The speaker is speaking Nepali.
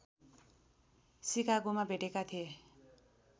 सिकागोमा भेटेका थिए